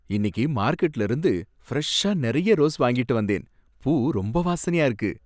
இன்னிக்கு மார்க்கெட்ல இருந்து ஃப்ரெஷ்ஷா நிறைய ரோஸ் வாங்கிட்டு வந்தேன். பூ ரொம்ப வாசனையா இருக்கு.